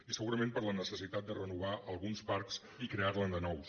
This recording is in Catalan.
i segurament per la necessitat de renovar alguns parcs i crear ne de nous